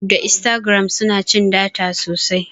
yutub da instagram suna cin data sosai